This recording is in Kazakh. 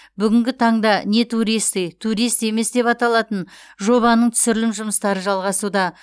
бүгінгі таңда не туристы турист емес деп аталатын жобаның түсірілім жұмыстары жалғасуда